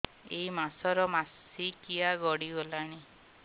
ଏଇ ମାସ ର ମାସିକିଆ ଗଡି ଗଲାଣି